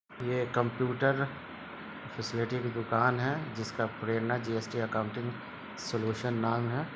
ये computer facility की दुकान है जिसका प्रेरणा जी.एस.टी. एकाउंटिंग सोल्यूशन नाम है।